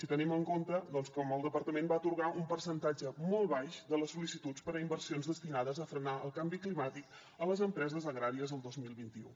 i tenim en compte doncs com el departament va atorgar un percentatge molt baix de les sol·licituds per a inversions destinades a frenar el canvi climàtic a les empreses agràries el dos mil vint u